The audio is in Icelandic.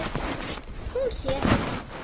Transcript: Hún sér